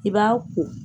I b'a ko